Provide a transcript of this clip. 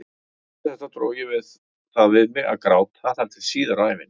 Eftir þetta dró ég það við mig að gráta þar til síðar á ævinni.